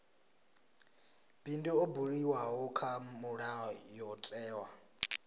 bindu ḽo buliwaho kha mulayotewa